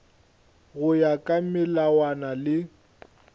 go ya ka melawana le